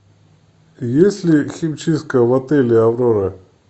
есть ли химчистка в отеле аврора